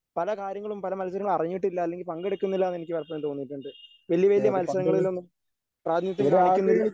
പല കാര്യങ്ങളും പല മത്സരങ്ങളും അറിഞ്ഞിട്ടില്ല അല്ലെങ്കിൽ പങ്കെടുക്കുന്നില്ല എന്നെനിക്ക് പലപ്പോഴും തോന്നിയിട്ടുണ്ട്. വലിയ വലിയ മത്സരങ്ങളിലൊന്നും പ്രാതിനിധ്യം കാണിക്കുന്നില്ല